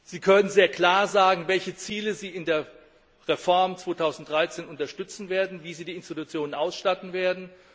Sie können sehr klar sagen, welche Ziele Sie bei der Reform 2013 unterstützen werden, wie Sie die Institutionen ausstatten werden.